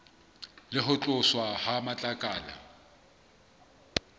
le ho tloswa ha matlakala